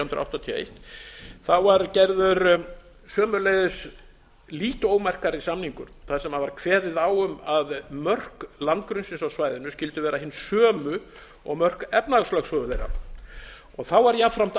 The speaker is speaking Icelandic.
hundruð áttatíu og eitt var gerður sömuleiðis lítt ómerkari samningur þar sem var kveðið á um að mörk landgrunnsins á svæðinu skyldu vera hin sömu og mörk efnahagslögsögu þeirra jafnframt var